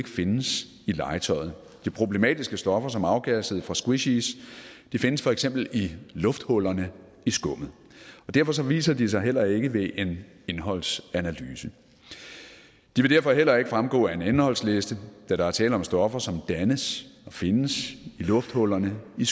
findes i legetøjet de problematiske stoffer som afgassede fra squishies findes for eksempel i lufthullerne i skummet og derfor viser de sig heller ikke ved en indholdsanalyse de vil derfor heller ikke fremgå af en indholdsliste da der er tale om stoffer som dannes og findes i lufthullerne i